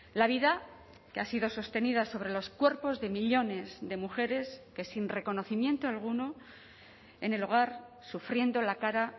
la vida que ha sido sostenida sobre los cuerpos de millónes de mujeres que sin reconocimiento alguno en el hogar sufriendo la cara